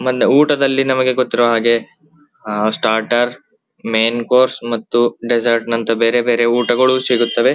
ಮನ್ನೆ ಊಟದಲ್ಲಿ ನಮಗೆ ಗೊತ್ತಿರುವ ಹಾಗೆ ಆ ಸ್ಟಾರ್ಟರ್ ಮೇನ್ ಕೋರ್ಸ್ ಮಾತು ಡೆಸರ್ಟ್ ನಂತ ಬೇರೆ ಬೇರೆ ಊಟಗಳು ಸಿಗುತ್ತವೆ .